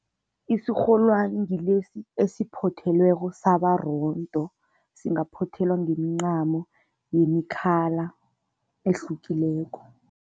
Isirholwani ngilesi esiphothelweko saba rondo, singaphothelwa ngemincamo yemi-colour ehlukileko.